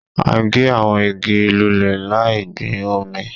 A gé àwọn igi lulẹ̀ láì gbin òmíì